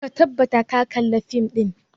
Ka tabbata ka kalla fim ɗin!